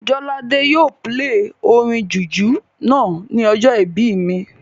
Jolade yóò pílè orin jùjú náà ní ọjọ́ ìbí mi